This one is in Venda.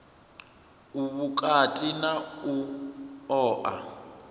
u vhukati na u oa